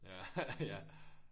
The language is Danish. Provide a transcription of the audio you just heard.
Ja ja